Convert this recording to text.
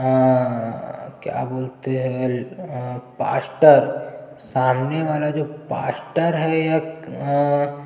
आ क्या बोलते है अ पास्टर सामने वाला जो पास्टर है य अ--